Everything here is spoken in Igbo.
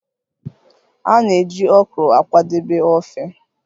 A na-eji Okro akwadebe ofe